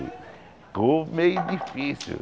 meio difícil.